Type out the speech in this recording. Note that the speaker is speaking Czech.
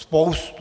Spoustu.